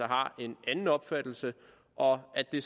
har en anden opfattelse og at det